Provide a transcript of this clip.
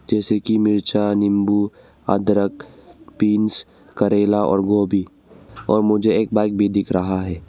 जैसे कि मिर्चा नींबू अदरक बींस करेला और गोभी और मुझे एक बाइक भी दिख रहा है।